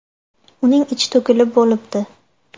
Uning ichi to‘kilib bo‘libdi.